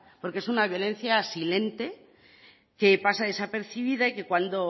porque es una violencia silente que pasa desapercibida y que cuando